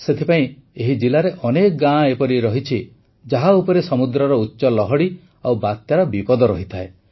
ସେଥିପାଇଁ ଏହି ଜିଲାରେ ଅନେକ ଗାଁ ଏପରି ଅଛି ଯାହା ଉପରେ ସମୁଦ୍ରର ଉଚ୍ଚ ଲହଡ଼ି ଓ ବାତ୍ୟାର ବିପଦ ରହିଥାଏ